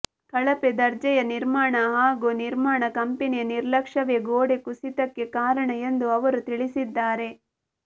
ಕಳಪೆ ದರ್ಜೆಯ ನಿರ್ಮಾಣ ಹಾಗೂ ನಿರ್ಮಾಣ ಕಂಪನಿಯ ನಿರ್ಲಕ್ಯ್ಷವೇ ಗೋಡೆ ಕುಸಿತಕ್ಕೆ ಕಾರಣ ಎಂದು ಅವರು ತಿಳಿಸಿದ್ದಾರೆ